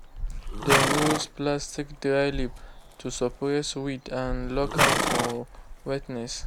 dem use platstic dryleaf to suppress weed and lock am for wetness.